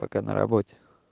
пока на работе